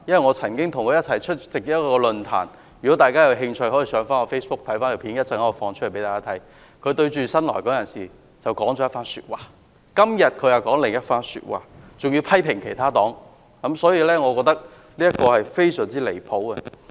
我曾經與他共同出席一個論壇，如果大家有興趣，可以到我的 Facebook， 我稍後便會上載片段給大家看，他對着新來港人士說一番話，但今天卻說另一番話，還要批評其他政黨，我認為這是非常離譜的。